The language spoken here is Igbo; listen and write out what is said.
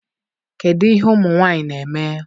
kedụ ihe ụmụ nwanyị na-eme?